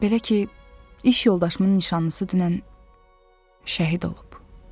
Belə ki, iş yoldaşımın nişanlısı dünən şəhid olub.